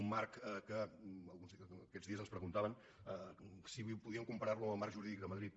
un marc que aquests dies ens preguntaven si podíem comparar lo amb el marc jurídic de madrid